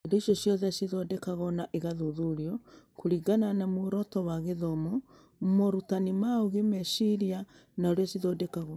Indo icio ciathondekagwo na igathuthurio kũringana na muoroto wa gĩthomo, morutani ma ũũgĩ, meciria, na ũrĩa ciathondekagwo.